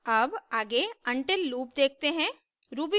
अब आगे until loop देखते हैं